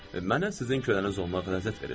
Mənə sizin köləninz olmaq ləzzət verir.